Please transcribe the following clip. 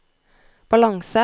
balanse